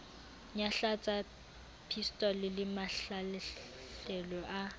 nyahlatsa pistolo le mahlahlelo a